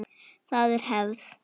Það er hefð!